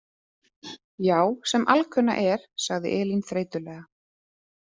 Já, sem alkunna er, sagði Elín þreytulega.